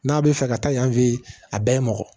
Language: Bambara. N'a bɛ fɛ ka taa yanfɛ a bɛɛ ye mɔgɔ